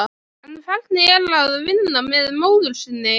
En hvernig er að vinna með móður sinni?